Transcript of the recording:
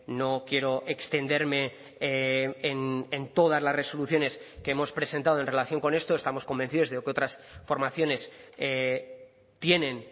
no quiero extenderme en todas las resoluciones que hemos presentado en relación con esto estamos convencidos de que otras formaciones tienen